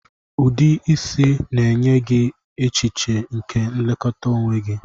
Ụdị isi na-enye gị echiche nke nlekọta onwe gị